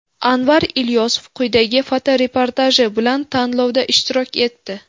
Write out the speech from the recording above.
Anvar Ilyosov quyidagi fotoreportaji bilan tanlovda ishtirok etdi.